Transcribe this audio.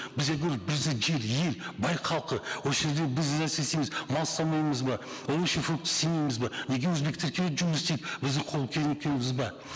біз я говорю бізде жер ел бай халқы осы жерде біз істейміз мал ұстамаймыз ба овощи фрукты істемейміз бе неге өзбектер келіп жұмыс істейді біздің қол ба